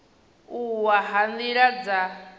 u wa ha nila dza